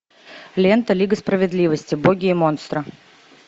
лента лига справедливости боги и монстры